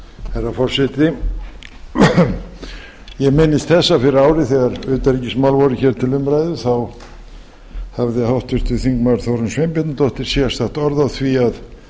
herra forseti ég minnist þess að fyrir ári þegar utanríkismál voru hér til umræðu þá hafði háttvirtur þingmaður þórunn sveinbjarnardóttir sérstakt orð á því að